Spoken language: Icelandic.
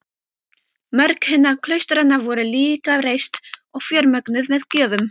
Mörg hinna klaustranna voru líka reist og fjármögnuð með gjöfum.